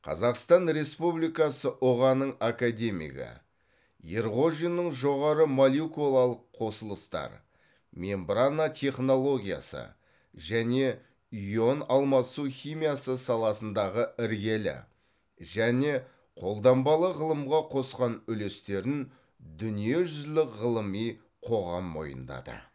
қазақстан республикасы ұға ның академигі ерғожиннің жоғары молекулалық қосылыстар мембрана технологиясы және ионалмасу химиясы саласындағы іргелі және қолданбалы ғылымға қосқан үлестерін дүниежүзілік ғылыми қоғам мойындады